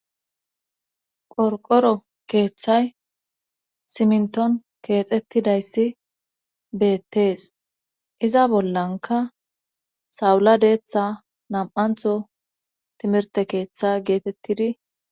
Qorqoro keeththay simnton keexettidayssi beettees iza bollanka sawula deeththa nam7antho timirte keeththa geetettidi..